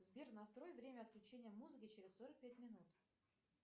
сбер настрой время отключения музыки через сорок пять минут